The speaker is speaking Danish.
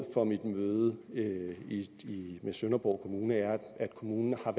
for mit møde med med sønderborg kommune er at kommunen har